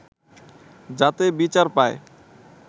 যাতে বিচার পায়